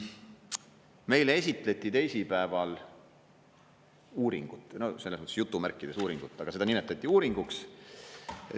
Meile esitleti teisipäeval uuringut, jutumärkides uuringut, aga seda nimetati uuringuks.